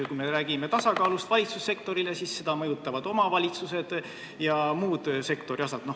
Kui me räägime valitsussektori tasakaalust, siis seda mõjutavad omavalitsused ja muud sektori osad.